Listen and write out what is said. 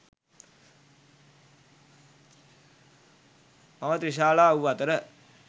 මව ත්‍රිශාලා වූ අතර